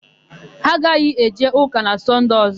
Ha aghaghị eje ụka na Sọnde ọ̀zọ́.